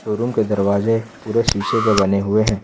Showroom के दरवाजे पूरे शीशे के बने हुए हैं।